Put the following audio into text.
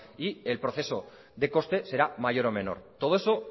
y el proceso de coste será mayor o menor todo eso